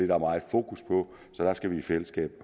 der meget fokus på så der skal vi i fællesskab